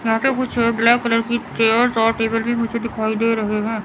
यहां पे कुछ ब्लैक कलर की चेयर्स और टेबल भी मुझे दिखाई दे रहे हैं।